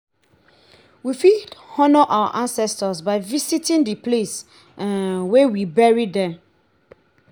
we fit honour our ancestor by visiting di place um wey we bury them